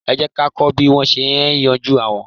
Ẹ jẹ́ ká kọ́ bí wón ṣe é yanjú aáwọ̀.